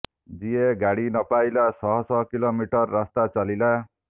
ଯିଏ ଗାଡି ନପାଇଲା ଶହ ଶହ କିଲୋମିଟର ରାସ୍ତାରେ ଚାଲିଲା